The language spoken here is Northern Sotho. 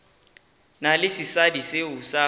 na le sesadi seo a